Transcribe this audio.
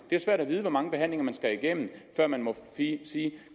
det er svært at vide hvor mange behandlinger man skal igennem før man må sige